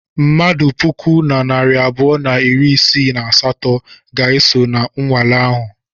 Mmadụ puku na narị abụọ na iri isii na asatọ ga-eso na nwale ahụ.